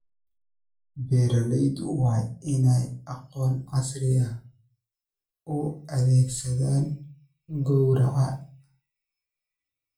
Beeraleydu waa inay aqoonta casriga ah u adeegsadaan gowraca.